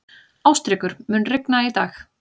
Ástríkur, mun rigna í dag?